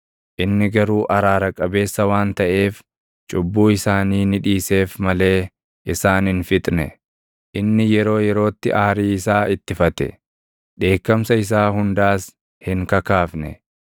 Inni garuu araara qabeessa waan taʼeef, cubbuu isaanii ni dhiiseef malee isaan hin fixne. Inni yeroo yerootti aarii isaa ittifate; dheekkamsa isaa hundaas hin kakaafne.